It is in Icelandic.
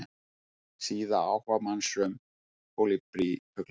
Síða áhugamanns um kólibrífugla.